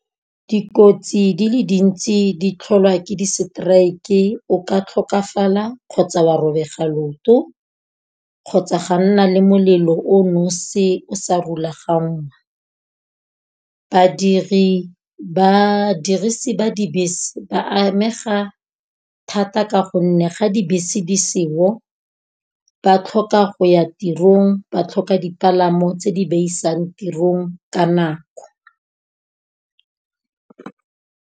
Dikotsi di le dintsi di tlholwa ke diseteraeke, o ka tlhokafala, kgotsa wa robega leoto, kgotsa ga nna le molelo o nosi o sa rulegang. Badirisi ba dibese ba amega thata ka gonne ga dibese di seo, ba tlhoka go ya tirong ba tlhoka dipalamo tse di ba isang tirong ka nako.